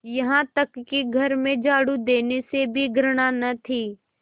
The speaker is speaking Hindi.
यहाँ तक कि घर में झाड़ू देने से भी घृणा न थी